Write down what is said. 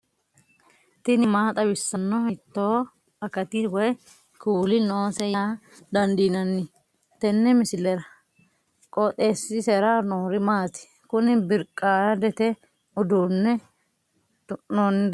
tini maa xawissanno ? hiitto akati woy kuuli noose yaa dandiinanni tenne misilera? qooxeessisera noori maati? kuni birqaadete duunne tu'noonnirichi maati maa xawisannoreeti